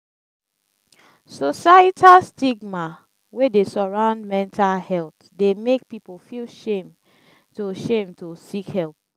societal stigma wey dey surround metal health dey make people feel shame to shame to seek help.